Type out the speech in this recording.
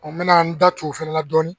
n mɛna n da tu o fɛnɛ la dɔɔni